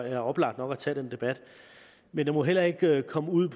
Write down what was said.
er oplagt nok at tage den debat men det må heller ikke komme ud